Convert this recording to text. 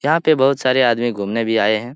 यहाँ पे बहुत सारे आदमी घूमने भी आये हैं ।